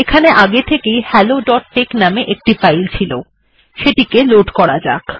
এখানে আগে থেকে helloটেক্স নামে একটি ফাইল ছিল এটিকে লোড করা যাক